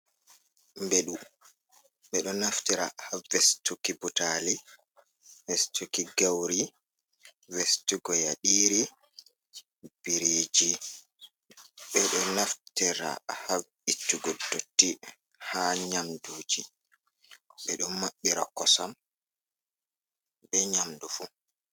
Beɗu. Ɓe ɗo naftira haa vestuki butaali, vestuki gauri, vestugo yaɗiiri, biriiji, ɓe ɗo naftira haa ittugo dotti haa nyamduuji, ɓe ɗo maɓɓira kosam, be nyamdu fu.